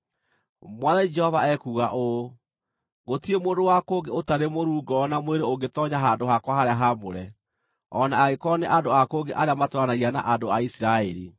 Mwathani Jehova ekuuga ũũ: Gũtirĩ mũndũ wa kũngĩ ũtarĩ mũruu ngoro na mwĩrĩ ũngĩtoonya handũ-hakwa-harĩa-haamũre, o na angĩkorwo nĩ andũ a kũngĩ arĩa matũũranagia na andũ a Isiraeli.